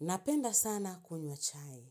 Napenda sana kunywa chai.